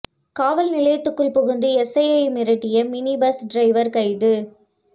காவல் நிலையத்துக்குள் புகுந்து எஸ்ஐயை மிரட்டிய மினி பஸ் டிரைவர் கைது